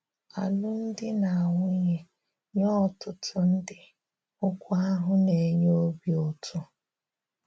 Álụ́mdi na Nwunye — nyè ọ̀tụ̀tù̀ ndị́, okwù ahụ̀ na-enyè obí ùtù.